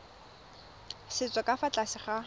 setso ka fa tlase ga